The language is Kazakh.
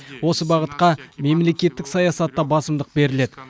осы бағытқа мемлекеттік саясатта басымдық беріледі